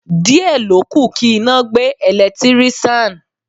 Díẹ̀ ló kù kí iná gbé Ẹ̀lẹ́tíríṣàn.